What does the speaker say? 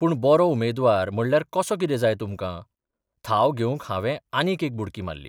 पूण बरो उमेदवार म्हणल्यार कसो कितें जाय तुमकां? थाव घेवंक हावें आनीक एक बुडकी मारली.